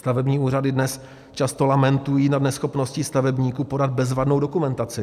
Stavební úřady dnes často lamentují nad neschopností stavebníků podat bezvadnou dokumentaci.